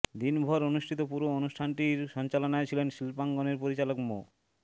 দিনভর অনুষ্ঠিত পুরো অনুষ্ঠানটির সঞ্চালনায় ছিলেন শিল্পাঙ্গনের পরিচালক মো